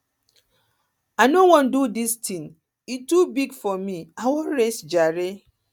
i no wan do dis thing e too big for me i wan rest jare